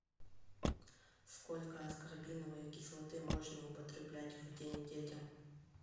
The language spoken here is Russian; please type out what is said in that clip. сколько аскорбиновой кислоты можно употреблять в день детям